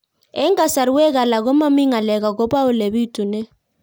Eng' kasarwek alak ko mami ng'alek akopo ole pitunee